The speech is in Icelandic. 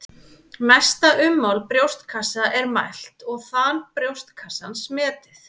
Mesta ummál brjóstkassa er mælt og þan brjóstkassans metið.